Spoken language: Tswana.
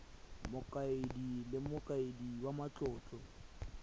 mokaedi le mokaedi wa matlotlo